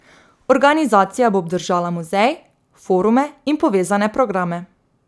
Organizacija bo obdržala muzej, forume in povezane programe.